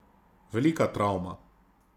Velika travma.